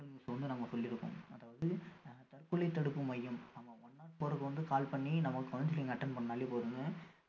news அ வந்து நம்ம சொல்லி இருக்கோம் அதாவது ஆஹ் தற்கொலை தடுப்பு மையம் நம்ம one not four க்கு வந்து call பண்ணி நம்ம counselling attend பண்ணாலே போதும்ங்க